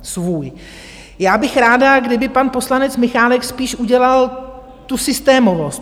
Já bych ráda, kdyby pan poslanec Michálek spíš udělal tu systémovost.